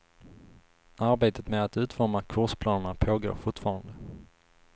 Arbetet med att utforma kursplanerna pågår fortfarande.